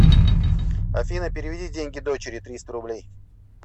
афина переведи деньги дочери триста рублей